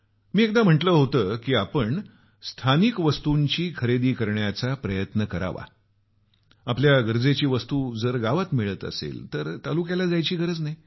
मी एकदा म्हटल होतं की आपण स्थानिक वस्तूंची खरेदी करण्याचा प्रयत्न करू आमच्या गरजेची वस्तू जर गावात मिळत असेल तर तालुक्याला जायची गरज नाही